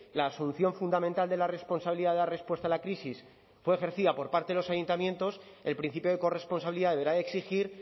la solución fundamental de la responsabilidad de dar respuesta a la crisis fue ejercida por parte de los ayuntamientos el principio de corresponsabilidad deberá de exigir